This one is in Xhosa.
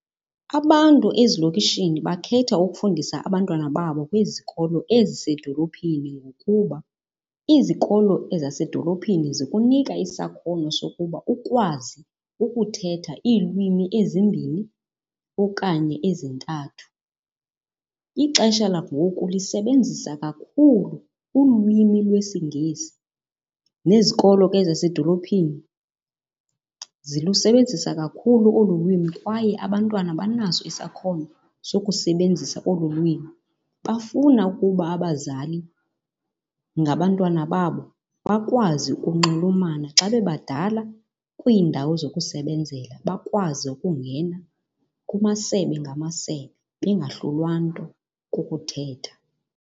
Abantu ezilokishini bakhetha ukufundisa abantwana babo kwizikolo ezisedolophini ngokuba izikolo ezasedolophini zikunika isakhono sokuba ukwazi ukuthetha iilwimi ezimbini okanye ezintathu. Ixesha langoku lisebenzisa kakhulu ulwimi lwesiNgesi nezikolo ke zasedolophini zilusebenzisa kakhulu olu lwimi kwaye abantwana banaso isakhono sokusebenzisa olu lwimi. Bafuna ukuba abazali ngabantwana babo bakwazi ukunxulumana xa bebadala kwiindawo zokusebenzela, bakwazi ukungena kumasebe ngamasebe bengahlulwa nto kukuthetha.